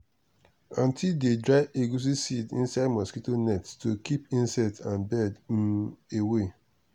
aunty dey dry egusi seeds inside mosquito net to keep insect and bird um away.